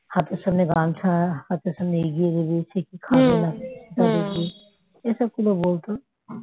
হাতের সামনে গামছা হাতের সামনে এগিয়ে দিবি সে কি খাবে তা দেখবি এসবগুলো বলত